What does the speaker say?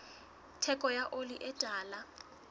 theko ya oli e tala